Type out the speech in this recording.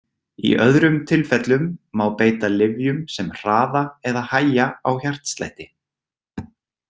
Í öðrum tilfellum má beita lyfjum sem hraða eða hægja á hjartslætti.